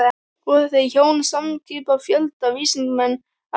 Voru þau hjón samskipa fjölda vísindamanna af ýmsu þjóðerni.